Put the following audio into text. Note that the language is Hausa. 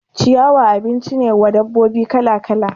Ciyawa abinci ne wa dabbobi kala kala